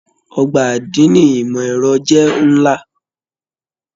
Ọgbà adini ìmọ ẹrọ jẹ nlá.